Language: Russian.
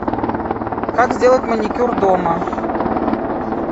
как сделать маникюр дома